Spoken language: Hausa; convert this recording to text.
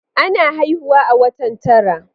Ana haifuawa a watan tara